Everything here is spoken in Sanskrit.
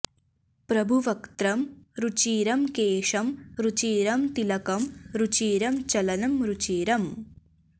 प्रभुवक्त्रं रुचिरं केशं रुचिरं तिलकं रुचिरं चलनं रुचिरम्